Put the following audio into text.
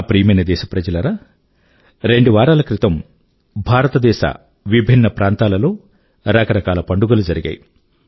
నా ప్రియమైన దేశప్రజలారా రెండు వారాల క్రితం భారతదేశ విభిన్న ప్రాంతాల లో రకరకాల పండుగలు జరిగాయి